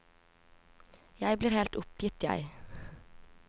Jeg blir helt oppgitt, jeg.